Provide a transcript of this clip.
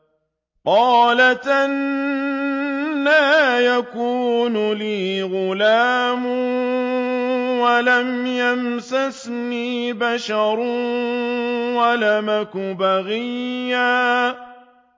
قَالَتْ أَنَّىٰ يَكُونُ لِي غُلَامٌ وَلَمْ يَمْسَسْنِي بَشَرٌ وَلَمْ أَكُ بَغِيًّا